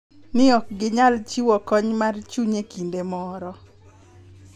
Ni ok ginyal chiwo kony mar chuny e kinde moro .